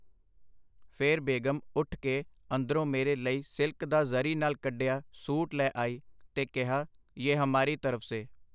ਫਿਰ ਬੇਗ਼ਮ ਉੱਠ ਕੇ ਅੰਦਰੋਂ ਮੇਰੇ ਲਈ ਸਿਲਕ ਦਾ ਜ਼ਰੀ ਨਾਲ ਕੱਢਿਆ ਸੂਟ ਲੈ ਆਈ ਤੇ ਕਿਹਾ, ਯੇ ਹਮਾਰੀ ਤਰਫ਼ ਸੇ.